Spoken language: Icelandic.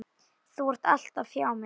Þú ert alltaf hjá mér.